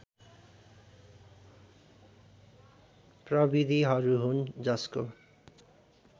प्रविधिहरू हुन् जसको